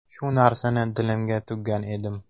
Shu narsani dilimga tuggan edim.